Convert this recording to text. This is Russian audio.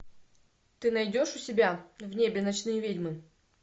ты найдешь у себя в небе ночные ведьмы